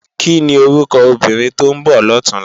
Kini órúkò óbìrín tó n bò lòtúnlá?